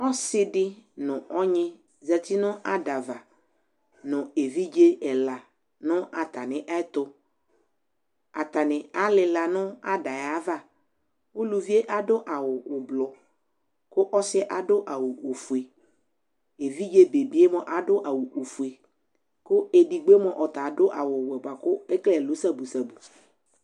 ɔsidi nu ɔyonyi zati nu ɑdava nuevidze ɛla nu ɑdayetu ɑtani ɑlila nadayava uluvie ɑdu ɑwu ublu ku ɔsie adu ɑwu ofue ɛvidze bebi ɑdu ɑwu ofue ɛdigbo moa ɑdu awu ɔwe kɛkele ɛlusabusabu